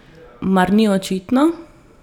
Mar ni očitno?